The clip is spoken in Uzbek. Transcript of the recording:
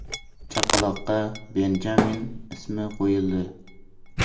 Chaqaloqqa Benjamin ismi qo‘yildi.